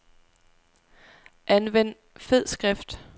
Anvend fed skrift.